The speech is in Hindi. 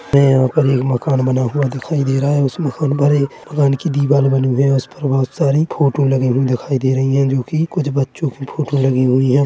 हमे यहाँ पर एक मकान बना हुआ दिखाई दे रहा है उसमे बड़े की दीवार बना हुआ है उसमे बहुत सारी फोटो लगी हुई दिखाई दे रही है जो की कुछ बच्चों की फोटो लगी हुई है।